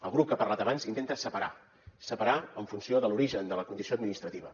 el grup que ha parlat abans intenta separar separar en funció de l’origen de la condició administrativa